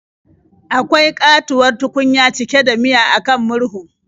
Akwai ƙatuwar tukunya cike da miya a kan murhun.